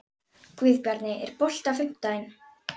Guðbjarni, er bolti á fimmtudaginn?